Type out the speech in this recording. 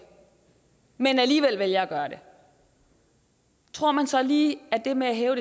men alligevel vælger at gøre det tror man så lige at det med at hæve